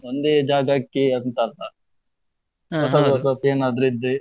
ಒಂದೇ ಜಾಗಕ್ಕೆ ಅಂತ ಅಲ್ಲ ಏನಾದ್ರೂ ಇದ್ರೆ.